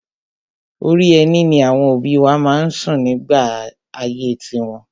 Orí ẹní ni àwọn òbí wa má ń sùn nígbà ayé tiwọn.